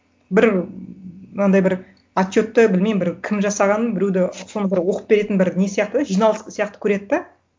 бір мынандай бір отчетті білмеймін бір кім жасағанын біреуді соны бір оқып беретін бір не сияқты да жиналыс сияқты көреді де